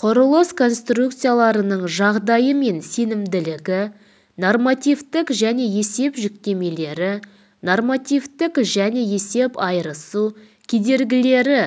құрылыс конструкцияларының жағдайы мен сенімділігі нормативтік және есеп жүктемелері нормативтік және есеп айырысу кедергілері